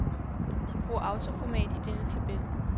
Brug autoformat i denne tabel.